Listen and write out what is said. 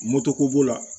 Moto ko b'o la